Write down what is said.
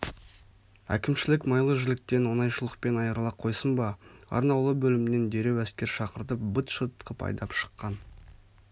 әкімшілік майлы жіліктен оңайшылықпен айырыла қойсын ба арнаулы бөлімнен дереу әскер шақыртып быт-шыт қып айдап шыққан